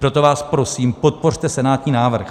Proto vás prosím, podpořte senátní návrh.